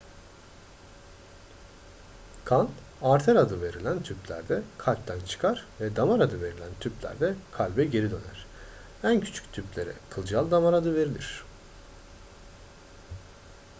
kan arter adı verilen tüplerde kalpten çıkar ve damar adı verilen tüplerde kalbe geri döner en küçük tüplere kılcal damar adı verilir